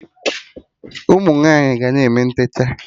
Ụmụnwaanyi ga na-eme ntechaa